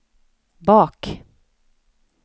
bak